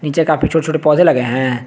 पीछे काफी छोटे छोटे पौधे लगे हैं।